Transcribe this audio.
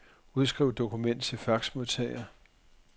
Udskriv dokument til faxmodtager.